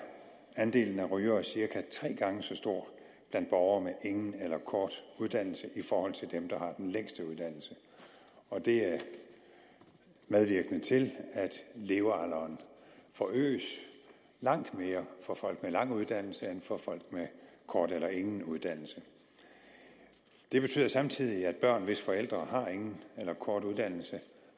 andelen af rygere cirka tre gange så stor blandt borgere med ingen eller kort uddannelse i forhold til dem der har den længste uddannelse og det er medvirkende til at levealderen forøges langt mere for folk med lang uddannelse end for folk med kort eller ingen uddannelse det betyder samtidig at børn hvis forældre har ingen eller kort uddannelse